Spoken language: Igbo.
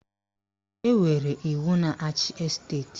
Enwere iwu na-achị esteti